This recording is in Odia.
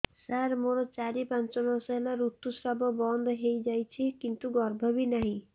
ସାର ମୋର ଚାରି ପାଞ୍ଚ ମାସ ହେଲା ଋତୁସ୍ରାବ ବନ୍ଦ ହେଇଯାଇଛି କିନ୍ତୁ ଗର୍ଭ ବି ନାହିଁ